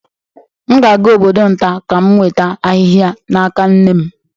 M ga-aga obodo nta ka m nweta ahịhịa n'aka nne m